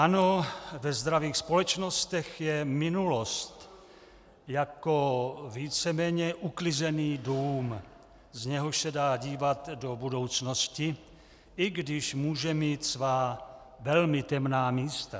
Ano, ve zdravých společnostech je minulost jako víceméně uklizený dům, z něhož se dá dívat do budoucnosti, i když může mít svá velmi temná místa.